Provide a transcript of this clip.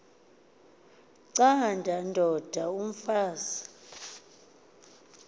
canda ndod umfaz